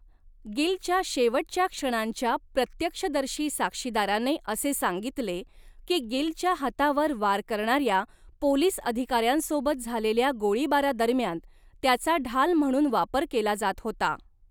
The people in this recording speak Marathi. गिलच्या शेवटच्या क्षणांच्या प्रत्यक्षदर्शी साक्षीदाराने असे सांगितले, की गिलच्या हातावर वार करणाऱ्या पोलीस अधिकाऱ्यांसोबत झालेल्या गोळीबारादरम्यान, त्याचा ढाल म्हणून वापर केला जात होता.